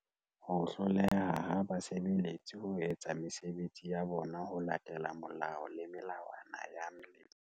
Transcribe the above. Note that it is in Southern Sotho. Ho hloleha ha basebe letsi ho etsa mesebetsi ya bona ho latela molao le melawana ya Letlole.